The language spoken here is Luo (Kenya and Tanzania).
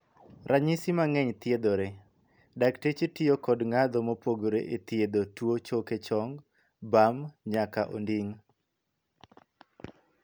Ranyisi mang'eny thiedhore. Dakteche tiyo kod ngadho mopogore e thiedho tuo choke chong, bam, nyaka onding'.